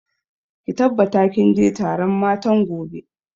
Ki tabbata kin je taron matan gobe!